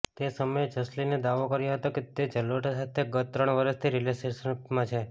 તે સમયે જસલીને દાવો કર્યો હતો કે તે જલોટા સાથે ગત ત્રણ વર્ષથી રિલેશનશીપમાં છે